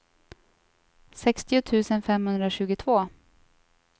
sextio tusen femhundratjugotvå